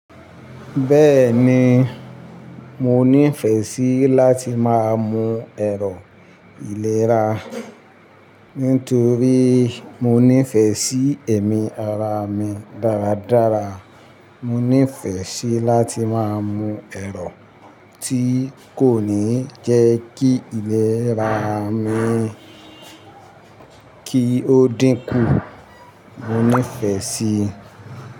Bẹ́ẹ̀ni, mo nífẹ̀ẹ́ síi láti máa mu ẹ̀rọ ìlera, nítorí mo nífẹ̀ẹ́ sí ẹ̀mí ara mi dáradára. Mo nífẹ̀ẹ́ síi láti máa mu ẹ̀rọ tí kò ní jẹ́ kí ìlera mi kí ó dínkù. Mo nífẹ̀ẹ́ sí i.